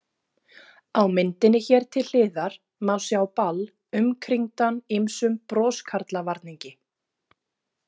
Á myndinni hér til hliðar má sjá Ball umkringdan ýmsum broskarlavarningi.